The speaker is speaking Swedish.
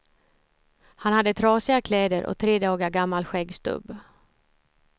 Han hade trasiga kläder och tre dagar gammal skäggstubb.